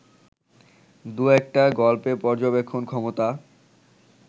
দুয়েকটা গল্পে পর্যবেক্ষণ ক্ষমতা